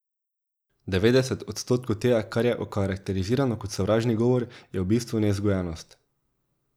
Devetdeset odstotkov tega, kar je okarakterizirano kot sovražni govor, je v bistvu nevzgojenost.